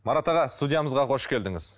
марат аға студиямызға қош келдіңіз